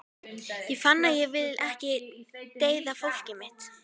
Ég fann að ég vildi ekki deyða fólkið mitt.